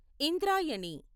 Indrayani